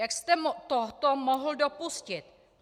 Jak jste toto mohl dopustit?